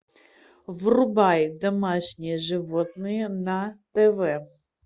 врубай домашние животные на тв